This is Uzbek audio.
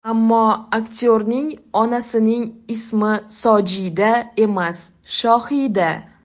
Ammo aktyorning onasining ismi Sojida emas, Shohida.